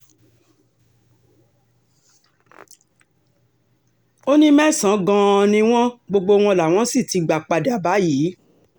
ó ní mẹ́sàn-án gan-an ni wọ́n gbogbo wọn làwọn sì ti gbà padà báyìí